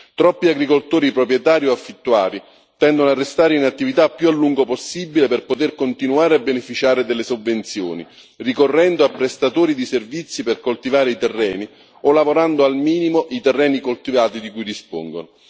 Troppi agricoltori proprietari o affittuari tendono a restare in attività il più a lungo possibile per poter continuare a beneficiare delle sovvenzioni, ricorrendo a prestatori di servizi per coltivare i terreni o lavorando al minimo i terreni coltivati di cui dispongono.